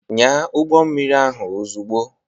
Nyaa ụgbọ mmiri ahụ ozugbo.